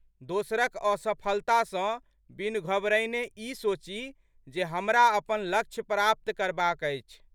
दोसरक असफलता सँ बिनु घबरयने ई सोची जे हमरा अपन लक्ष्य प्राप्त करबाक अछि।